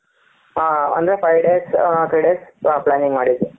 ಹ ಅಂದ್ರೆ five days three days planning ಮಾಡಿದ್ವಿ,